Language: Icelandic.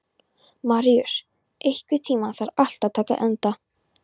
Maríus, einhvern tímann þarf allt að taka enda.